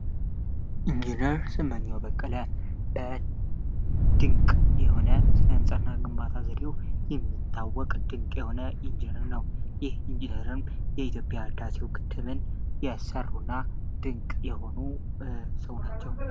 እንጂነር ስመኛዉ በቀለ ድንቅ የሆነ ግንባታ የሚታወቅ ድንቅ የሆነ ኢንጅነር ኢትዮጵያን ያሰሩና ድንቅ የሆኑ ሰው ናቸው።